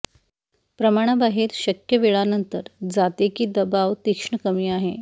प्रमाणा बाहेर शक्य वेळानंतर जाते की दबाव तीक्ष्ण कमी आहे